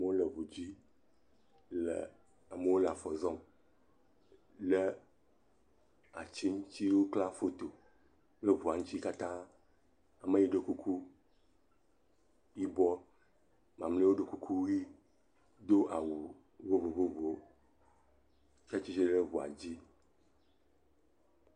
Amewo le eŋu dzi le.., amewo le afɔ zɔm, le ati ŋuti wokla foto, kple ŋua ŋuti katã, ame yi ɖɔ kuku yibɔ, mamleawo ɖɔ kuku ʋi do awu vovovovowo hetsitre ɖe ŋua dzi.